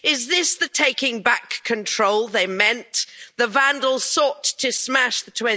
Is this the taking back control they meant? The vandals sought to smash the